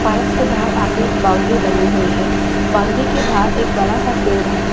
Park से बाहर आ के बाउंड्री बनी हुई हैं बाउंड्री के बाहर एक बड़ा सा पेड़ है।